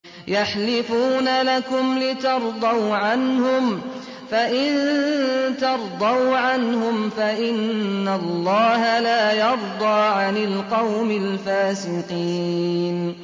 يَحْلِفُونَ لَكُمْ لِتَرْضَوْا عَنْهُمْ ۖ فَإِن تَرْضَوْا عَنْهُمْ فَإِنَّ اللَّهَ لَا يَرْضَىٰ عَنِ الْقَوْمِ الْفَاسِقِينَ